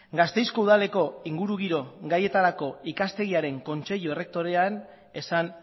gasteizko udaleko ingurugiro gaietarako ikastegiaren kontseilu erretorean esan